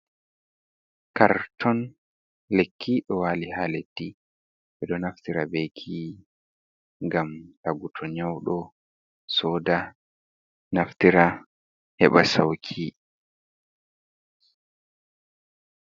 Karton likki ɗo wali ha leddi e ɗo naftira be lekki ngam tagu to nyaudo soda naftira heɓa sauki.